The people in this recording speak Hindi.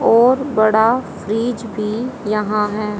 और बड़ा फ्रिज भी यहां है।